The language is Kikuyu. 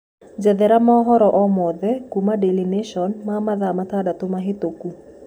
njethera mohoro o mothe kũma daily nation ma mathaa matandatu mahituku